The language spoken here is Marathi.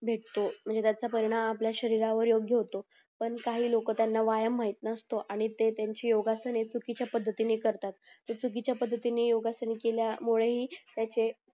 भेटतो नीरज चा परिणाम आपली शरीरावर योग्य होतो पण काही लोक त्यांना व्यायाम माहित नसत आणि ते त्याची योगासने चुकीच्या पद्धतीने करतात जर चुकीच्या पद्धतीने योगासने केल्यामुळे हि ते